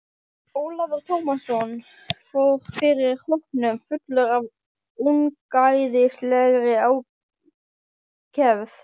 Ólafur Tómasson fór fyrir hópnum fullur af ungæðislegri ákefð.